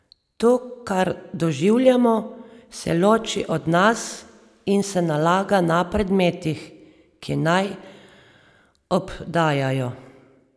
To, kar doživljamo, se loči od nas in se nalaga na predmetih, ki naj obdajajo.